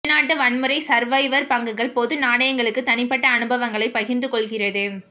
உள்நாட்டு வன்முறை சர்வைவர் பங்குகள் பொது நாணயங்களுக்கு தனிப்பட்ட அனுபவங்களை பகிர்ந்து கொள்கிறது